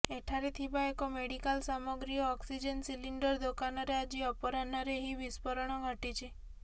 ଏଠାରେ ଥିବା ଏକ ମେଡିକାଲ ସାମଗ୍ରୀ ଓ ଅକ୍ସିଜେନ୍ ସିଲିଣ୍ଡର ଦୋକାନରେ ଆଜି ଅପରାହ୍ନରେ ଏହି ବିସ୍ଫୋରଣ ଘଟିଛି